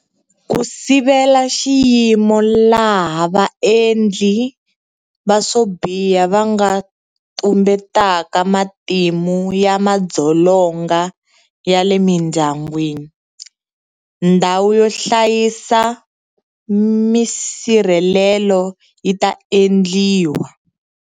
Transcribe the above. Ku sivela xiyimo laha vaendli va swo biha va nga tumbetaka matimu ya madzolonga ya le mindyangwini, ndhawu yo hlayisa misirhelelo yi ta endliwa.